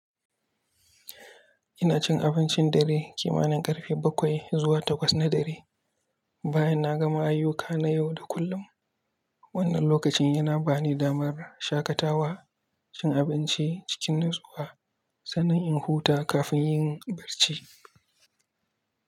Ina cin abincin dare kimanin ƙarfe baƙwai zuwa takwas na dare, bayan na gama ayyuka na yau da kullum. Wannan lokacin yana bani damar shaƙatawa, cin abinci cikin natsuwa, sannan in huta kafin yin barci.